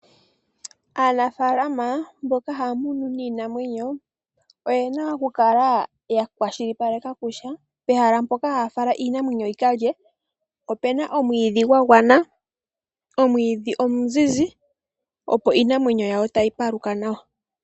Aanafaalama mboka haya munu iinamwenyo, oyena oku kala ya kwashilipaleka kutya, pehala mpoka haya fala iinamwenyo yi kalye, opuna omwiidhi gwa gwana, omwiidhi omuzizi, opo Iinamwenyo yawo tayi paluka nawa.